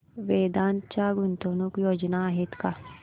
वेदांत च्या गुंतवणूक योजना आहेत का